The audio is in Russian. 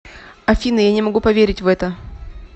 афина я не могу поверить в это